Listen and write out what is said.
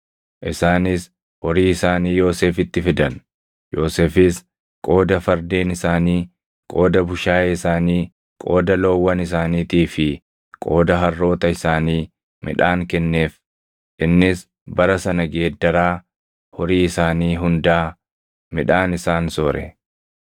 Isaanis horii isaanii Yoosefitti fidan; Yoosefis qooda fardeen isaanii, qooda bushaayee isaanii, qooda loowwan isaaniitii fi qooda harroota isaanii midhaan kenneef. Innis bara sana geeddaraa horii isaanii hundaa midhaan isaan soore.